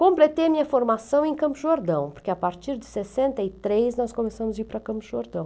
Completei a minha formação em Campo Jordão, porque a partir de sessenta e três nós começamos a ir para Campos do Jordão.